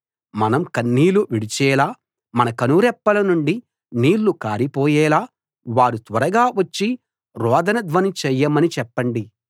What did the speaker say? మనం కన్నీళ్లు విడిచేలా మన కనురెప్పల నుండి నీళ్లు కారిపోయేలా వారు త్వరగా వచ్చి రోదన ధ్వని చేయమని చెప్పండి